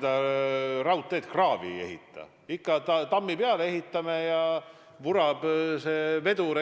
Ega me seda raudteed kraavi ei ehita, ikka tammi peale ehitame ja vurab see vedur